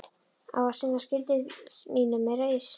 Á að sinna skyldu mínum með reisn.